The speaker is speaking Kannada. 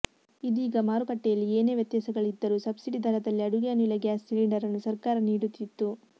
ಇದೀಗ ಮಾರುಕಟ್ಟೆಯಲ್ಲಿ ಏನೇ ವ್ಯತ್ಯಾಸಗಳಿದ್ದರೂ ಸಬ್ಸಿಡಿ ಧರದಲ್ಲಿ ಅಡುಗೆ ಅನಿಲ ಗ್ಯಾಸ್ ಸಿಲಿಂಡರನ್ನು ಸರಕಾರ ನೀಡುತ್ತಿತ್ತು